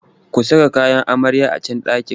Ku saka kayan amaryar a can ɗakin!